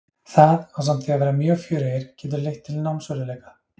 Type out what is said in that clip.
Það, ásamt því að vera mjög fjörugir, getur leitt til námsörðugleika.